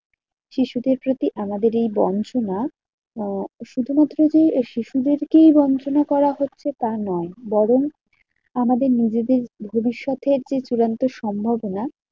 শিশুদের প্রতি আমাদের এই বঞ্চনা আহ শুধুমাত্র যে শিশুদেরকেই বঞ্চনা করা হচ্ছে তা নয় বরং আমাদের নিজেদের ভবিষ্যতের যে চূড়ান্ত সম্ভবনা